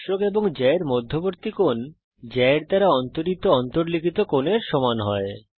স্পর্শক এবং জ্যা এর মধ্যবর্তী কোণ জ্যা এর দ্বারা অন্তরিত অন্তর্লিখিত কোণের সমান হয়